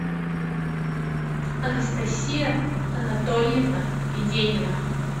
анастасия анатольевна виденина